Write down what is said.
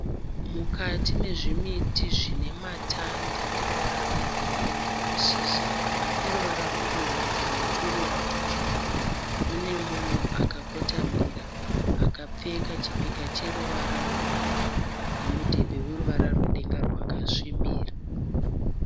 Mukati nezvimiti zvine matanda eruvara rwegirinhi nemashizha eruvara rwebumhudza neturuva tutsvuku mune munhu akakotamira akapfeka chipika cheruvara rwedenga nemudhebhe weruvara rwedenga rwakasvibira.